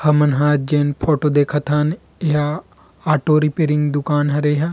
हमन ह जेन फोटो देखत हन यहाँ ऑटो रिपेयरिंग दूकान हरे एह।